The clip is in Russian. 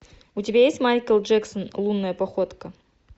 у тебя есть майкл джексон лунная походка